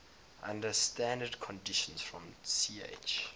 under standard conditions from ch